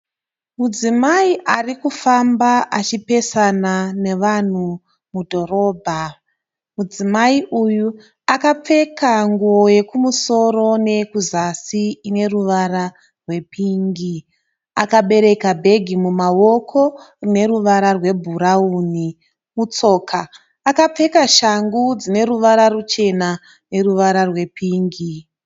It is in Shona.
Mudzimai ari kufamba achipesana nevanhu mudhorobha. Mudzimai uyu akapfeka nguo yekumusoro neyekuzasi ine ruvara rwepingi .Akabereka bhegi mumawoko rine ruvara rwebhurauni. Mutsoka apfeka shangu dzine ruvara ruchena neruvara rwepingi